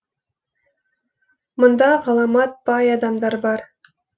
мұнда ғаламат бай адамдар бар